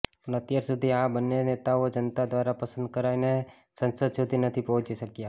પણ અત્યાર સુધી આ બંને નેતાઓ જનતા દ્રારા પસંદ કરાયને સંસદ સુધી નથી પહોંચી શક્યા